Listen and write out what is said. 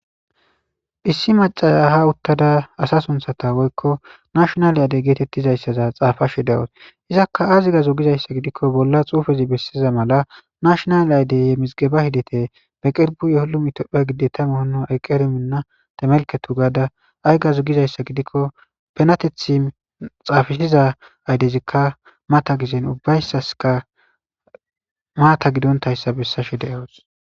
issi macaya ha uttada asa sunthata woykko nashonal aydey geetettizayssaza xaafashe dewus izakka aziga zogizayssa gidikko bolla xuufezi bessiza mala nashonal aydeyye mizgeba hidete be qirbu ye holumitoppha gide tama hono ayqqer minna tamelketu gaada ayga zogizayssa gidikko penatethi xaafisiza aydezikka mata gizen ubbayssaska maata gidontayssa bessashe de'awus